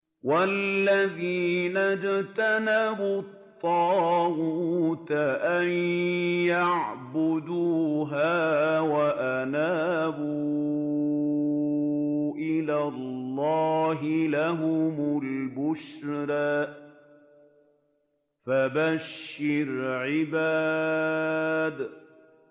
وَالَّذِينَ اجْتَنَبُوا الطَّاغُوتَ أَن يَعْبُدُوهَا وَأَنَابُوا إِلَى اللَّهِ لَهُمُ الْبُشْرَىٰ ۚ فَبَشِّرْ عِبَادِ